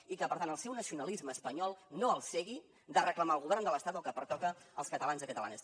i que per tant el seu nacionalisme espanyol no el cegui de reclamar al govern de l’estat el que pertoca als catalans i catalanes